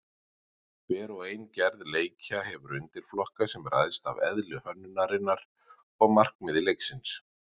Hver og ein gerð leikja hefur undirflokka sem ræðst af eðli hönnunarinnar og markmiði leiksins.